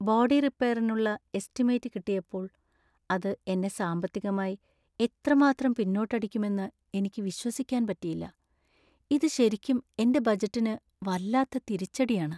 Body റിപ്പെയറിനുള്ള estimate കിട്ടിയപ്പോൾ, അത് എന്നെ സാമ്പത്തികമായി എത്രമാത്രം പിന്നോട്ടടിക്കുമെന്ന് എനിക്ക് വിശ്വസിക്കാൻ പറ്റിയില്ല . ഇത് ശരിക്കും എന്റെ ബജറ്റിന് വല്ലാത്ത തിരിച്ചടിയാണ്.